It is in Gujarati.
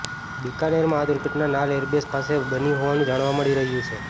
બિકાનેરમાં આ દુર્ઘટના નાલ એરબેસ પાસે બની હોવાનું જાણવા મળી રહ્યું છે